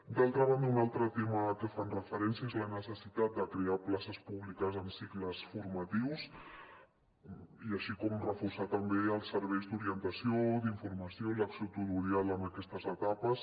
d’altra banda un altre tema a que fan referència és la necessitat de crear places públiques en cicles formatius i reforçar també els serveis d’orientació d’informació l’acció tutorial en aquestes etapes